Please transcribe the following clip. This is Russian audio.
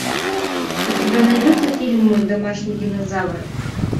у тебя найдется фильм мой домашний динозавр